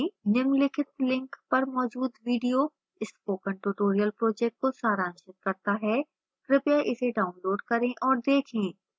निम्नलिखित link पर मौजूद video spoken tutorial project को सारांशित करता है कृपया इसे डाउनलोड करें और देखें